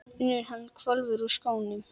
UNNUR: Hann hvolfir úr skónum.